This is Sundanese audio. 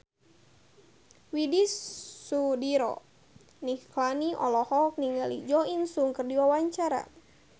Widy Soediro Nichlany olohok ningali Jo In Sung keur diwawancara